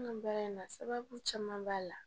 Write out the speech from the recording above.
An ka baara in na sababu caman b'a la